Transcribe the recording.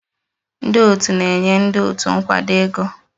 Ndị otu na-enye ndị otu nkwado ego.